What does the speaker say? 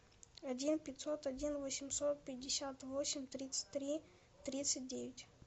один пятьсот один восемьсот пятьдесят восемь тридцать три тридцать девять